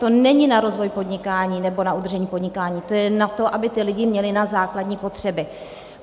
To není na rozvoj podnikání nebo na udržení podnikání, to je na to, aby ti lidé měli na základní potřeby.